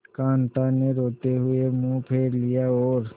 कांता ने रोते हुए मुंह फेर लिया और